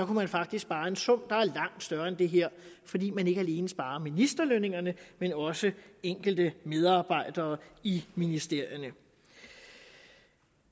man faktisk spare en sum der er langt større end det her fordi man ikke alene sparede ministerlønningerne men også enkelte medarbejdere i ministerierne